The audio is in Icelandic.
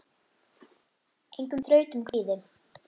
Engum þrautum kvíði.